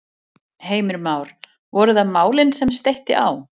Heimir Már: Voru það málin sem steytti á?